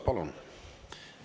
Palun!